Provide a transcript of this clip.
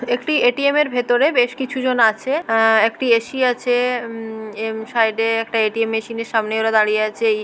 এটি একটি এ.টি.এম. এর ভেতরে বেশ কিছু জন আছে। আ একটি এ.সি. আছে। উম এম সাইডে । একটি এ.টি.এম. মেশিনের সামনে ওরা দাঁড়িয়ে আছে। এ--